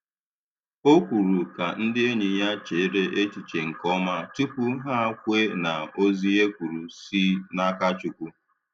Ọ kwùrù ka ndị enyi ya chèrè echiche nke ọma tupu hà kwe na ozi e kwuru si n’aka Chukwu.